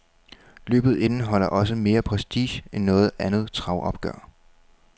Løbet indeholder også mere prestige end noget andet travopgør.